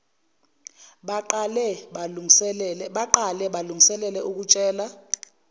baqale balungiselele ukutshela